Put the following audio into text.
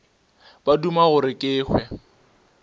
ba duma gore ke hwe